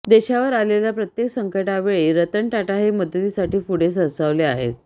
देशावर आलेल्या प्रत्येक संकटावेळी रतन टाटा हे मदतीसाठी पुढे सरसावले आहेत